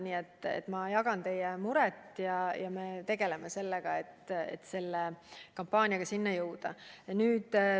Nii et ma jagan teie muret ja me tegeleme sellega, etkampaaniaga sinna jõuda.